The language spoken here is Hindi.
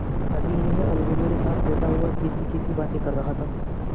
अभी यह अलगू मेरे साथ बैठा हुआ कैसीकैसी बातें कर रहा था